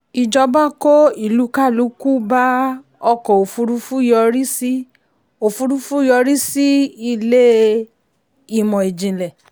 ìjọba kó ìlúkálùkù bá ọkọ̀ òfurufú yọrí sí òfurufú yọrí sí ilé ìmọ̀ ìjìnlẹ̀.